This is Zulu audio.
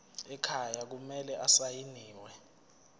ekhaya kumele asayiniwe